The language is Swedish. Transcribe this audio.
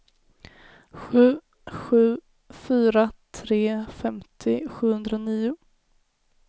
sju sju fyra tre femtio sjuhundranio